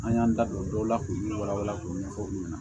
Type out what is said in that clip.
An y'an da don dɔw la k'u ni wala wala k'u ɲɛfɔ aw ɲɛna